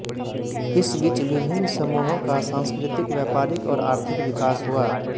इस बीच विभिन्न समूहों का सांस्कृतिक व्यापारिक और आर्थिक विकास हुआ